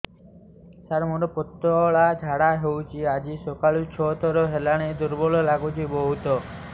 ସାର ମୋର ପତଳା ଝାଡା ହେଉଛି ଆଜି ସକାଳୁ ଛଅ ଥର ହେଲାଣି ଦୁର୍ବଳ ଲାଗୁଚି ବହୁତ